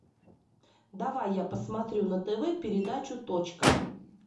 давай я посмотрю на тв передачу точка